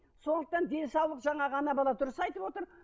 сондықтан денсаулық жаңағы ана бала дұрыс айтып отыр